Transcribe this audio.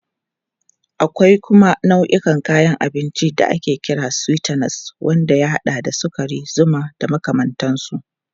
Akwai kuma nau'in kayan abinci da ake kira sweeteners wanda ya haɗa da sukari, zuma da makamantansu.